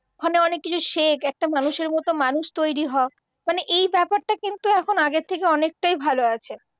ওখানে অনেক কিছু শেখ একটা মানুষের মত মানুষ তৈরি হ মানে এই ব্যাপারটা কিন্তু এখন আগের থেকে অনেকটাই ভালো আছে।